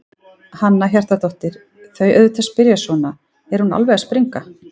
Hanna Hjartardóttir: Þau auðvitað spyrja svona, er hún alveg að springa?